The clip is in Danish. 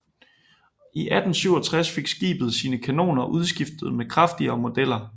I 1867 fik skibet sine kanoner udskiftet med kraftigere modeller